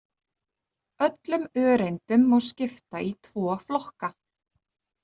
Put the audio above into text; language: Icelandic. Öllum öreindum má skipta í tvo flokka.